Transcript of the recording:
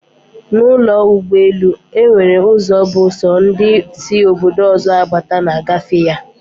Na ụlọ ụgbọ elu, enwere ụzọ bụ sọ ndị sị Obodo ọzọ abata na-agafe ya